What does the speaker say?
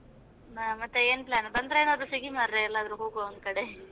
ಹಾ ಮತ್ತೆ ಏನು plan ಬಂದ್ರಾ ಏನಾದ್ರೂ ಸಿಗಿ ಮರ್ರೆ, ಎಲ್ಲಾದ್ರೂ ಹೋಗುವ ಒಂದು ಕಡೆ.